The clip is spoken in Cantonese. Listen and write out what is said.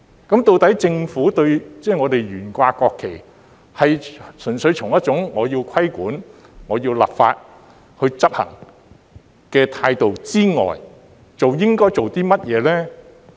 究竟政府對於懸掛國旗，在純粹從要規管、要立法執行的態度之外，應該做甚麼呢？